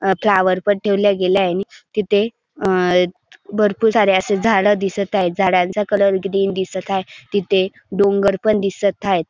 अ flower पण ठेवलाय गेलाय तिथे अ भरपूर सारे असे झाड दिसत हाये. झाडांचा कलर ग्रीन दिसत हाये. तिथे डोंगर पण दिसत हायेत.